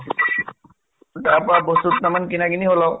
তাপা বস্তু দুটামান কিনা কিনি হʼল আৰু